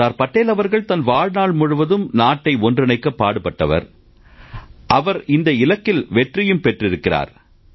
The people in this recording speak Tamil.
சர்தார் படேல் அவர்கள் தன் வாழ்நாள் முழுவதும் நாட்டை ஒன்றிணைக்கப் பாடுபட்டார் அவர் இந்த இலக்கில் வெற்றியும் பெற்றிருக்கிறார்